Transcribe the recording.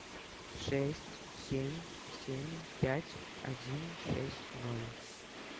шесть семь семь пять один шесть ноль